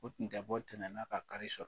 U tun tɛ bɔ tɛnɛn na ka kari sɔrɔ.